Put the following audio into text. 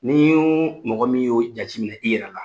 N'i y'o mɔgɔ min y'o jateminɛ i yɛrɛ ka